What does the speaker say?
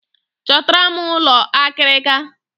Chọtara m ụlọ akịrịka!